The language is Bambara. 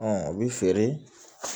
o bɛ feere